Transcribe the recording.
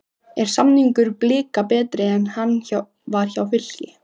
Er samningur Blika betri en hann var hjá Fylki?